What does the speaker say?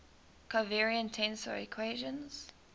covariant tensor equations